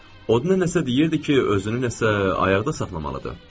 O nə nəsə deyirdi ki, özünü nəsə ayaqda saxlamalıdır.